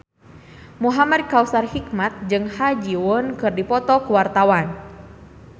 Muhamad Kautsar Hikmat jeung Ha Ji Won keur dipoto ku wartawan